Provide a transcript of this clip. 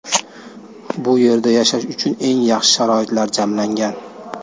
Bu yerda yashash uchun eng yaxshi sharoitlar jamlangan.